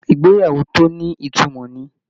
Ìgbéyàwó tó ní ìtumọ̀ ni